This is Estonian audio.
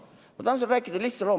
Ma tahan sulle rääkida lihtsa loo.